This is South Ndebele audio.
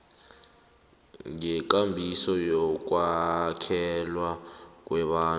ngekambiso yokwakhelwa kwabantu